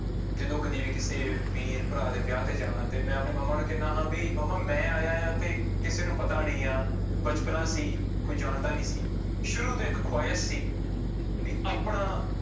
ਜਦੋਂ ਕਦੇ ਵੀ ਕਿਸੇ ਵੀਰ ਭਰਾ ਦੇ ਵਿਆਹ ਤੇ ਜਾਣਾ ਤੇ ਮੈਂ ਆਪਣੇ ਮੰਮਾ ਨੂੰ ਕਹਿਨਾ, ਹਾਂ ਵੀ ਮੰਮਾ ਮੈਂ ਆਇਆਂ ਆਂ ਤੇੇ ਕਿਸੇ ਨੂੰ ਪਤਾ ਨੀ ਆ, ਬਚਪਨਾ ਸੀ ਕੋਈ ਜਾਣਦਾ ਨੀ ਸੀ, ਸ਼ੁਰੂ ਤੋਂ ਇੱਕ ਖੁਹਾਇਸ਼ ਸੀ ਵੀ ਆਪਣਾ